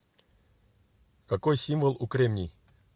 какой символ у кремний